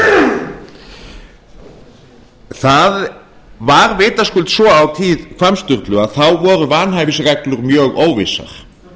fjármálaráðherra það var vitaskuld svo á tíð hvamms sturlu að þá voru vanhæfisreglur mjög óvissar